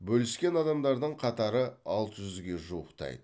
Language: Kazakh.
бөліскен адамдардың қатары алты жүзге жуықтайды